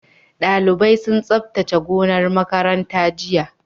Dalibai sun tsabtace gonar makaranta jiya